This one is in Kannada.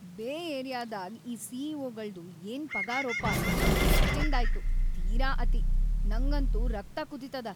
ಬೇ ಏರಿಯಾದಾಗ್ ಈ ಸಿ.ಇ.ಓ.ಗಳ್ದು ಏನ್ ಪಗಾರೋಪಾ ‌ಇದಂತೂ ಹೆಚ್ಚಿನ್ದಾಯ್ತು, ತೀರಾ ಅತಿ.. ನಂಗಂತೂ ರಕ್ತ ಕುದೀತದ.